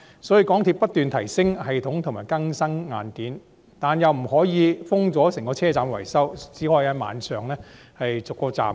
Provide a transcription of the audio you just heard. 所以，港鐵公司不斷提升系統和更新硬件，但又不可以圍封整個車站維修，只能在晚上逐一修理。